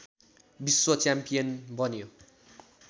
विश्व च्याम्पियन बन्यो